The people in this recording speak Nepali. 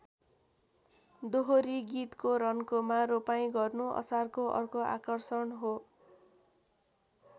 दोहोरी गीतको रन्कोमा रोपाइँ गर्नु असारको अर्को आकर्षण हो।